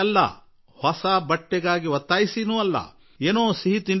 ಒಳ್ಳೆಯ ಬಟ್ಟೆಗಾಗಿ ಅಲ್ಲ ತಿನ್ನಲು ಸಿಹಿ ತಿಂಡಿಗಾಗಿ ಅಲ್ಲ